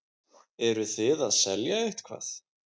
Eruð þið að selja eitthvað?